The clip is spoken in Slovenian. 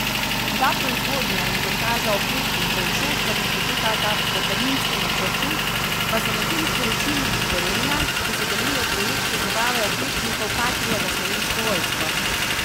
Da proizvodnja in montaža oklepnikov v Šoštanju potekata po terminskem načrtu, pa so medtem sporočili iz Gorenja, ki sodeluje v projektu dobave oklepnikov patria za Slovensko vojsko.